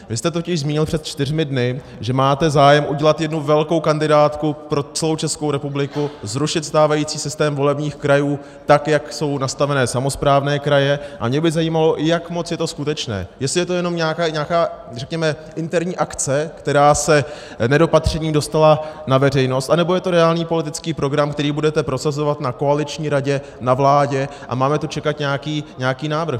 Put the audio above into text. Vy jste totiž zmínil před čtyřmi dny, že máte zájem udělat jednu velkou kandidátku pro celou Českou republiku, zrušit stávající systém volebních krajů, tak jak jsou nastaveny samosprávné kraje, a mě by zajímalo, jak moc je to skutečné, jestli je to jenom nějaká řekněme interní akce, která se nedopatřením dostala na veřejnost, anebo je to reálný politický program, který budete prosazovat na koaliční radě, na vládě, a máme tu čekat nějaký návrh.